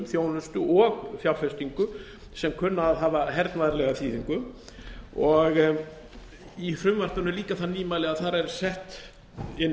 þjónustu og fjárfestingum sem kunna að hafa hernaðarlega þýðingu og í frumvarpinu er líka það nýmæli að þar eru sett inn